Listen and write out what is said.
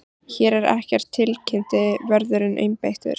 Hér er ekkert tilkynnti vörðurinn einbeittur.